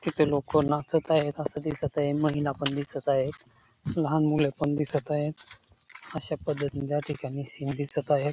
तिथे लोक नाचत आहेत अस दिसत आहे महिला पण दिसत आहेत लहान मुले पण दिसत आहेत अश्या पद्धतीन त्या ठिकाणी सिन दिसत आहे.